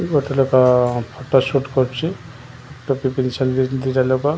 ଗୋଟେ ଲୋକ photo shoot କରୁଚି ଟୋପି ବିନ୍ଧିଛନ୍ତି ଦିଟା ଲୋକ।